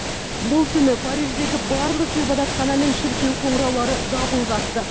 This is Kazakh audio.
бұл түні париждегі барлық ғибадатхана мен шіркеу қоңыраулары дабыл қақты